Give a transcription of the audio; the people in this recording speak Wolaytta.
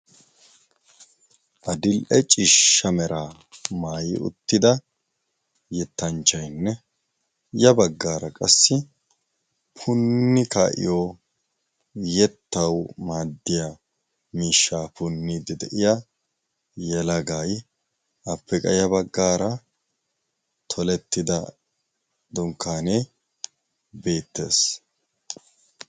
Adil77e ciishsha meraa maayi uttida yettanchchaynne ya baggaara qassi punni ka7iyo yettawu maaddiya miishshaa punniddi de7iya yelagay appe qa ya baggaara tolettida dunkkaanee beettees.